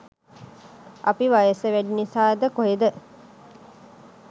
අපි වයස වැඩි නිසාද කොහෙද